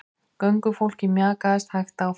Göngufólkið mjakaðist hægt áfram.